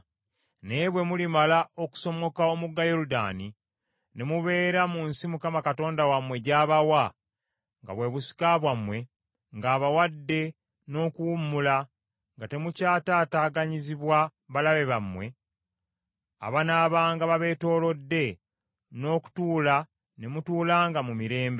Naye bwe mulimala okusomoka omugga Yoludaani, ne mubeera mu nsi Mukama Katonda wammwe gy’abawa nga bwe busika bwammwe, ng’abawadde n’okuwummula, nga temukyataataaganyizibwa balabe bammwe abanaabanga babeetoolodde n’okutuula ne mutuulanga mu mirembe;